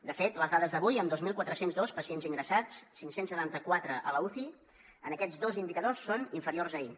de fet en les dades d’avui amb dos mil quatre cents i dos pacients ingressats cinc cents i setanta quatre a l’uci aquests dos indicadors són inferiors a ahir